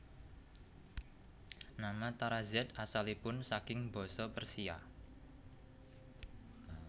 Nama Tarazed asalipun saking basa Persia